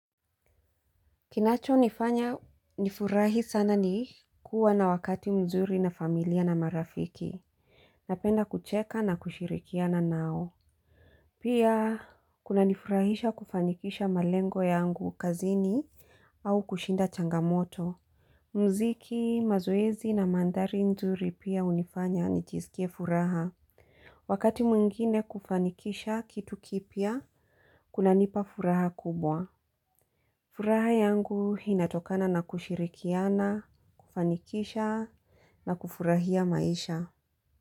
Kinacho nifanya nifurahi sana ni kuwa na wakati mzuri na familia na marafiki. Napenda kucheka na kushirikiana nao. Pia kuna nifurahisha kufanikisha malengo yangu kazini au kushinda changamoto. Muziki, mazoezi na mandhari nzuri pia hunifanya nijisikie furaha. Wakati mwingine kufanikisha kitu kipya, kuna nipa furaha kubwa. Furaha yangu inatokana na kushirikiana, kufanikisha na kufurahia maisha.